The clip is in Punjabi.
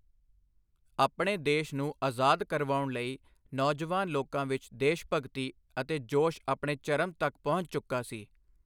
ਆਪਣੇ ਦੇਸ਼ ਨੂੰ ਆਜ਼ਾਦ ਕਰਵਾਉਣ ਲਈ ਨੌਜਵਾਨ ਲੋਕਾਂ ਵਿਚ ਦੇਸ਼ਭਗਤੀ ਅਤੇ ਜੋਸ਼ ਆਪਣੇ ਚਰਮ ਤੱਕ ਪੁੱਜ ਚੁੱਕਾ ਸੀ।